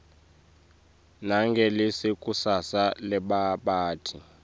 nangelikusasa lebabhali